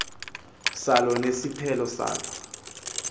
salo nesiphelo salo